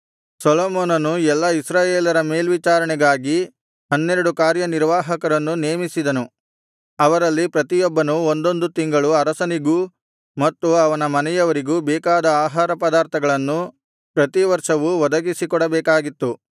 ಸೊಲೊಮೋನನು ಎಲ್ಲಾ ಇಸ್ರಾಯೇಲರ ಮೇಲ್ವಿಚಾರಣೆಗಾಗಿ ಹನ್ನೆರಡು ಕಾರ್ಯನಿರ್ವಾಹಕರನ್ನು ನೇಮಿಸಿದನು ಅವರಲ್ಲಿ ಪ್ರತಿಯೊಬ್ಬನು ಒಂದೊಂದು ತಿಂಗಳು ಅರಸನಿಗೂ ಮತ್ತು ಅವನ ಮನೆಯವರಿಗೂ ಬೇಕಾದ ಆಹಾರ ಪದಾರ್ಥಗಳನ್ನು ಪ್ರತಿವರ್ಷವೂ ಒದಗಿಸಿಕೊಡಬೇಕಾಗಿತ್ತು